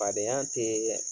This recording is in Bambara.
Fadenya tee